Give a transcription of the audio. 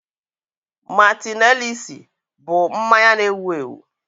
Martinelissi bụ mmanya na-ewu ewu